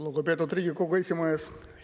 Lugupeetud Riigikogu esimees!